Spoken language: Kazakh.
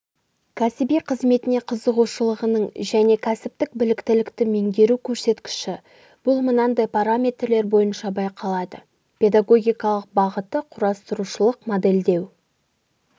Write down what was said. кәсіби қызметіне қызығушылығының және кәсіптік біліктілікті меңгеру көрсеткіші бұл мынандай параметрлер бойынша байқалады педагогикалық бағыты құоастырушылық моделдеу